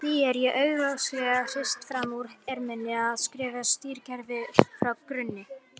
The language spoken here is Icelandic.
Það er því augljóslega ekki hrist fram úr erminni að skrifa stýrikerfi frá grunni.